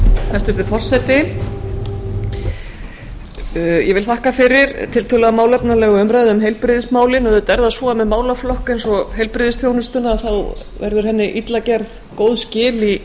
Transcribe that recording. hæstvirtur forseti ég vil þakka fyrir tiltölulega málefnalega umræðu um heilbrigðismálin auðvitað er það svo að með málaflokk eins og heilbrigðisþjónustuna þá verður henni illa gerð góð skil í